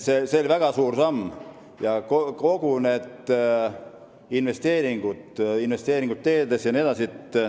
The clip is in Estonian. See on väga suur samm: kõik need investeeringud teedesse jne.